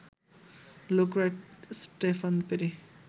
look right, Stephen peri